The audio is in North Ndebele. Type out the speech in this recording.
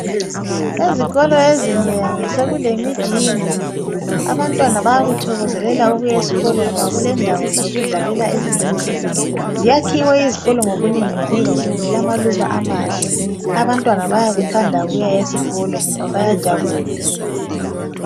ezikolo ezinengi sokule mijingo abantwana bayakujabulela ukuya eskolo ngoba kulendawo zokudlalela ezinhle ziyakhiwe izikolo ngobuhle zilama luba amahle abantwana bayakuthanda ukuya esikolo ngoba bayajabula